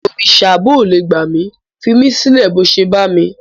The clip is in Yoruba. Òrìsà bóò le gbà mí, fimílẹ̀ bó o ṣe bá mi.